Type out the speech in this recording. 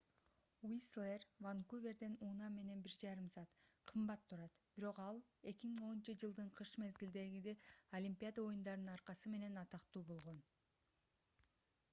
уистлер ванкуверден унаа менен 1,5 саат кымбат турат бирок ал 2010—жылдын кыш мезгилиндеги олимпиада оюндарынын аркасы менен атактуу болгон